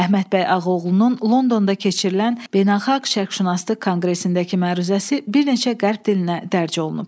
Əhməd bəy Ağaoğlunun Londonda keçirilən Beynəlxalq Şərqşünaslıq konqresindəki məruzəsi bir neçə qərb dilinə dərç olunub.